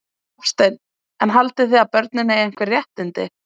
Hafsteinn: En haldið þið að börn eigi einhver réttindi?